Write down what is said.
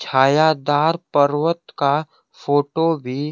छाया दार पर्वत का फोटो भी--